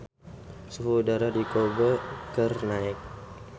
Suhu udara di Kobe keur naek